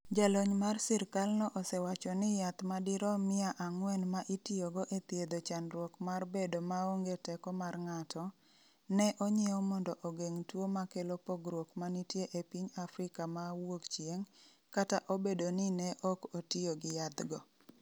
Jalony mar sirkalno osewacho ni yath madirom mia ang'wen ma itiyogo e thiedho chandruok mar bedo maonge teko mar ng’ato, ne onyiew mondo ogeng’ tuo ma kelo pogruok ma nitie e piny Afrika ma Wuokchieng’, kata obedo ni ne ok otiyo gi yathgo.